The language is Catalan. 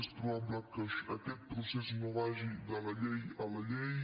és probable que aquest procés no vagi de la llei a la llei